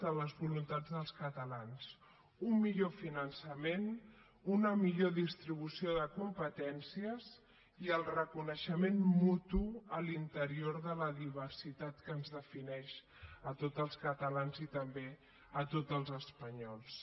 de les voluntats dels catalans un millor finançament una millor distribució de competències i el reconeixement mutu a l’interior de la diversitat que ens defineix a tots els catalans i també a tots els espanyols